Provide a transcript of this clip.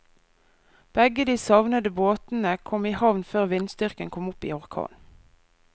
Begge de savnede båtene kom i havn før vindstyrken kom opp i orkan.